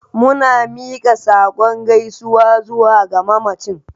Muna miƙa saƙon gaisuwa zuwa ga mamacin